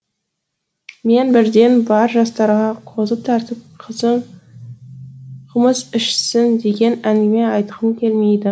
мен бірден бар жастарға қозы тартып қымыз ішсін деген әңгіме айтқым келмейді